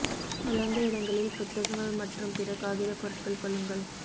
உலர்ந்த இடங்களில் புத்தகங்கள் மற்றும் பிற காகித பொருட்கள் கொள்ளுங்கள்